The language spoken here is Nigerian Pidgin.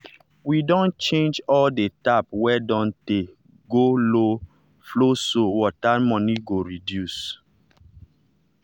we don change all the tap wey don tey go low flowso water money go reduce.